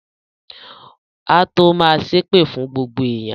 Á tó ma ṣépè fún gbogbo èèyàn